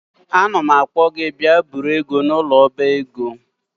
Anam akpo gi bia buru ego a n'ulo oba ego